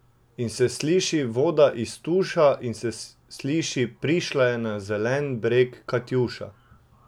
In se sliši voda iz tuša in se sliši Prišla je na zelen breg Katjuša.